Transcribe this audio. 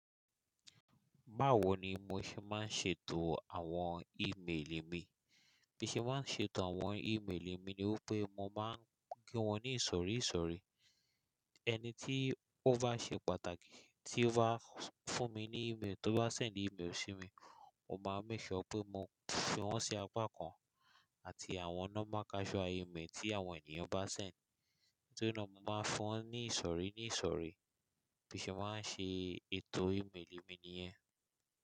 Báwo ni mo ṣe máa ń ṣètò àwọn ímeèlì mi? Bí mo ṣe máa ń ṣètò àwọn ímeèlì mi ni wípé mo máa ń gbé wọn ní ìsọ̀rí ìsọ̀rí. Ẹni tí ó bá ṣe pàtàkì tí ó bá fún mi ní ímeèlì tó bá ṣẹ̀ ní ímeèlì sí mi, mo máa ń make sure pé mo fi wọ́n sí apá kan àti àwọn nọ́mà kasual ímeèli tí àwọn ènìyàn bá ṣẹ̀ ní. Torí náà mo máa fún wọn ní ìsọ̀rí ní ìsọ̀rí. Bí mo ṣe máa ń ṣe ètò ímeèlì mi nìyẹn.